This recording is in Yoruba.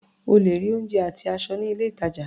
O lè rí oúnjẹ àti aṣọ ní ilé-ìtàjà.